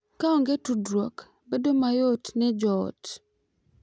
Ka onge tudruok, bedo mayot ne jo ot